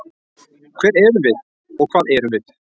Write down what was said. Hver erum við og hvað erum við?